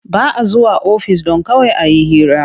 Ba a zuwa ofis don kawai a yi hira.